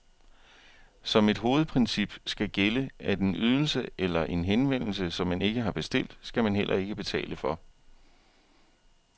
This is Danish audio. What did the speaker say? Som et hovedprincip skal gælde, at en ydelse eller en henvendelse, som man ikke har bestilt, skal man heller ikke betale for.